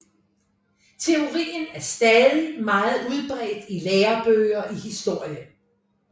Teorien er stadig meget udbredt i lærebøger i historie